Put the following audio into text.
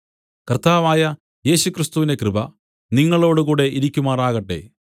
കർത്താവായ യേശുക്രിസ്തുവിന്റെ കൃപ നിങ്ങളോടുകൂടെ ഇരിക്കുമാറാകട്ടെ